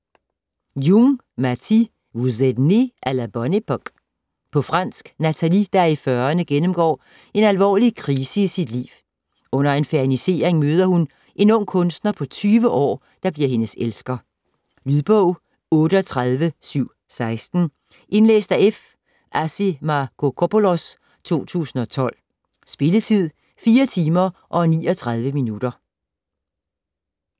Jung, Matthie: Vous êtes nés à la bonne époque På fransk. Nathalie, der er i fyrrerne, gennemgår en alvorlig krise i sit liv. Under en fernisering møder hun en ung kunstner på 20 år, der bliver hendes elsker. Lydbog 38716 Indlæst af F. Assimacopoulos, 2012. Spilletid: 4 timer, 39 minutter.